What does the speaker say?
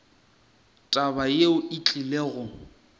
taba yeo e tlile go